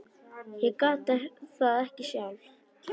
Ég gat það ekki sjálf.